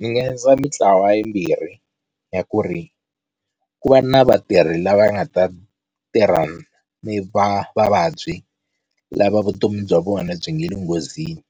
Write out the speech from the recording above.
Ndzi nga endla mintlawa yimbirhi ya ku ri ku va na vatirhi lava nga ta tirha ni va vavabyi lava vutomi bya vona byi nga le nghozini,